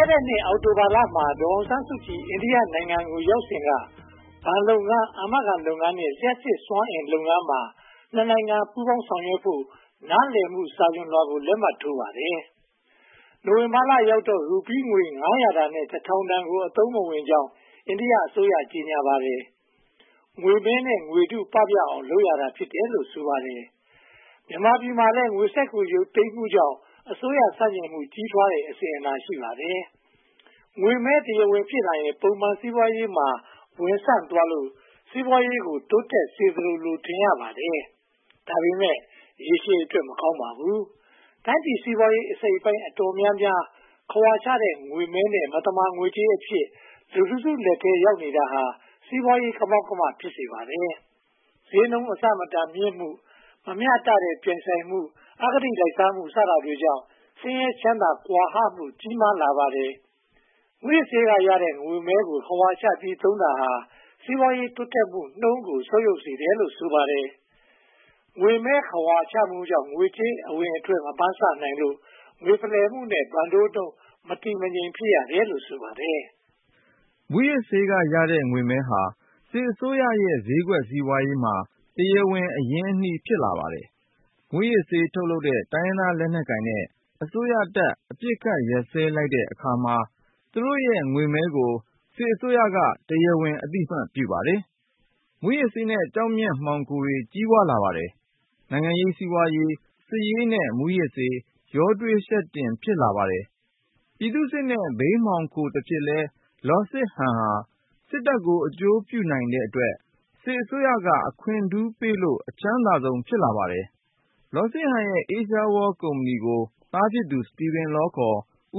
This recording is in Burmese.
ဲ့တဲ့ အောက်တိုဘာလမှာ ဒေါ်အောင်ဆန်းစုကြည် အိန္ဒိယနိုင်ငံကို ရောက်စဉ်က ဘဏ်လုပ်ငန်း၊ အာမခံလုပ်ငန်းနဲ့ လျှပ်စစ်စွမ်းအင်လုပ်ငန်းတွေမှာ နိုင်ငံ ပူးပေါင်းဆောင်ရွက်ဖို့ နားလည်မှု စာချွန်လွှာကို လက်မှတ်ထိုးပါတယ်။ နိုဝင်ဘာလရောက်တော့ ရူပီးငွေ တန်နဲ့ တန်တို့ကို အသုံးမဝင်တော့ကြောင်း အိန္ဒိယအစိုးရက ကြေညာပါတယ်။ အိန္ဒိယနိုင်ငံသား ရာခိုင်နှုန်းမှာ ဘဏ်စာရင်းမရှိတဲ့အတွက် ငွေမဲနဲ့ ငွေတု ပပျောက်အောင်လုပ်တာ ဖြစ်တယ်လို့ ဆိုပါတယ်။ ငွေမဲကို ခဝါချလို့ တရားဝင် ငွေကြေးဖြစ်လာရင် ပုံမှန်စီးပွားရေးမှာ ဝင်ဆံ့သွားပြီး အရင်းအနှီး ဖြစ်လာလို့ စီးပွားရေးကို တိုးတက်စေသလို ထင်ရပါတယ်။ ဒါပေမဲ့ ရေရှည်အတွက် မကောင်းပါဘူး။ တိုင်းပြည်စီးပွားရေး အစိတ်အပိုင်း တော်တော်များများဟာ ခဝါချထားတဲ့ ငွေမဲနဲ့ မသမာငွေကြေးအဖြစ် လူတစု လက်ထဲရောက်နေတာဟာ စီးပွားရေး ကမောက်ကမ ဖြစ်စေပါတယ်။ ဈေးနှုန်းအဆမတန် မြင့်မားမှု၊ မမျှတတဲ့ ပြိုင်ဆိုင်မှု၊ အဂတိလိုက်စားမှု စတာတွေကြောင့် ဆင်းရဲချမ်းသာ ကွာဟမှု ကြီးမားလာပါတယ်။ မူးယစ်ဆေးကရတဲ့ ငွေမဲကို ခဝါချပြီး သုံးနေတာဟာ စီးပွားရေး တိုးတက်မှုနှုန်းကို ဆုတ်ယုတ်စေတယ်လို့ ဆိုပါတယ်။ ငွေမဲခဝါချမှုကြောင့် ငွေကြေးအဝင်အထွက် မမှန်းဆနိုင်လို့ ငွေဖလှယ်မှုနဲ့ ဘဏ်တိုးနှုန်း မတည်မငြိမ် ဖြစ်ရတယ်လို့ ဆိုပါတယ်။ မူးယစ်ဆေးကရတဲ့ ငွေမဲဟာ စစ်အစိုးရရဲ့ ဈေးကွက်စီးပွားရေးမှာ တရားဝင် အရင်းအနှီး ဖြစ်လာပါတယ်။ မူးယစ်ဆေး ထုတ်လုပ်တဲ့ တိုင်းရင်းသားလက်နက်ကိုင်နဲ့ အစိုးရတပ် အပစ်အခတ် ရပ်စဲလိုက်တဲ့အခါမှာ သူတို့ရဲ့ ငွေမဲကို စစ်အစိုးရက တရားဝင် အသိအမှတ်ပြုပါတယ်။ မူးယစ်ဆေးနဲ့ ကျောက်မျက်မှောင်ခိုတွေ ကြီးပွားလာပါတယ်။ နိုင်ငံရေး၊ စီးပွားရေး၊ စစ်ရေး နဲ့ မူးယစ်ဆေး ရောထွေယှက်တင် ဖြစ်လာပါတယ်။ ပြည်သူစစ်နဲ့ ဘိန်းမှောင်ခိုတဖြစ်လဲ လော်စစ်ဟန်ဟာ စစ်တပ်ကို အကျိုးပြုနိုင်တဲ့အတွက် စစ်အစိုးရက အခွင့်ထူးပေးလို့ အချမ်းသာဆုံး ဖြစ်လာပါတယ်။ လော်စစ်ဟန်ရဲ့ Asia World ကုမ္ပဏီကို သားဖြစ်သူ Steven Law